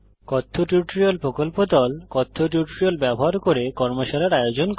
কথ্য টিউটোরিয়াল প্রকল্প দল কথ্য টিউটোরিয়াল ব্যবহার করে কর্মশালার আয়োজন করে